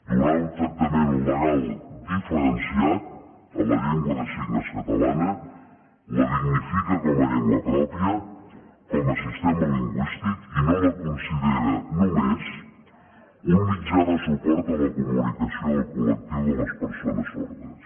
donar un tractament legal diferenciat a la llengua de signes catalana la dignifica com a llengua pròpia com a sistema lingüístic i no la considera només un mitjà de suport a la comunicació del col·lectiu de les persones sordes